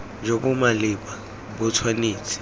jo bo maleba bo tshwanetse